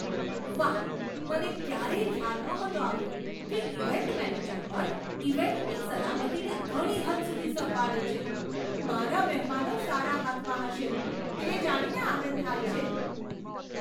વાહ, મને ક્યારેય ખ્યાલ નહોતો આવ્યો કે ઇવેન્ટ મેનેજર પણ ઇવેન્ટની સલામતીને ઘણી હદ સુધી સંભાળે છે! મારા મહેમાનો સારા હાથમાં હશે તે જાણીને આનંદ થાય છે.